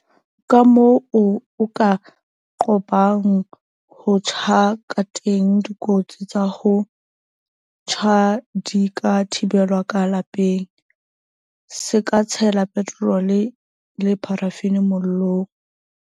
Kamoo o ka qobang ho tjha kateng Dikotsi tsa ho tjha di ka thibelwa ka lapeng. Se ka tshela petrole le parafini mollong.